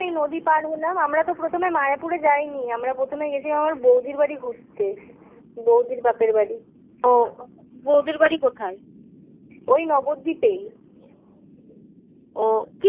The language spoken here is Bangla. এই নদী পার হলাম. আমরা তো প্রথমে মায়াপুরে যাইনি. আমরা প্রথমে গেছি আমার বৌদির বাড়ি ঘুরতে. বৌদির বাপের বাড়ি. ও বৌদির বাড়ি কোথায়? ওই নবদ্বীপেই ওহ